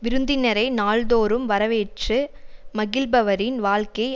விருந்தினரை நாள் தோறும் வரவேற்று மகிழ்பவரின் வாழ்க்கை